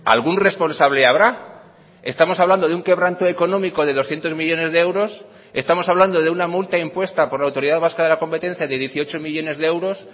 algún responsable habrá estamos hablando de un quebranto económico de doscientos millónes de euros estamos hablando de una multa impuesta por la autoridad vasca de la competencia de dieciocho millónes de euros